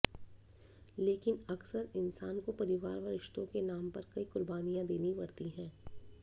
लेकिन अक्सर इन्सान को परिवार व रिश्तों के नाम पर कई कुर्बानियां देनी पड़ती है